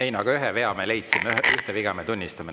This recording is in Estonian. Ei no ühe vea me leidsime, ühte viga me tunnistame.